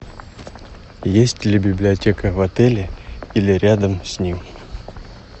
есть ли библиотека в отеле или рядом с ним